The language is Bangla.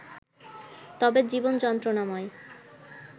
তবে জীবন যন্ত্রণাময়